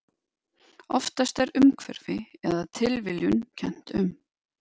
Oftast er umhverfi eða tilviljun kennt um.